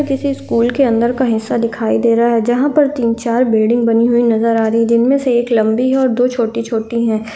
किसी स्कूल के अंदर का हिस्सा दिखाई दे रहा है जहाँ पर तीन-चार बिल्डिंग बनी हुई नज़र आ रही है जिनमें से एक लंबी हैऔर दो छोटी-छोटी है।